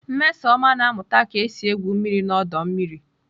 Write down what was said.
Nmesoma na-amuta ka esi egwu mmiri n'ọdọ mmiri.